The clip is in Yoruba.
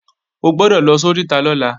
O gbọ́dọ̀ lọ sóríta lọ́la